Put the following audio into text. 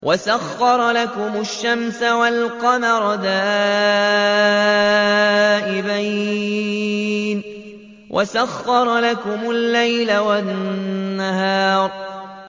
وَسَخَّرَ لَكُمُ الشَّمْسَ وَالْقَمَرَ دَائِبَيْنِ ۖ وَسَخَّرَ لَكُمُ اللَّيْلَ وَالنَّهَارَ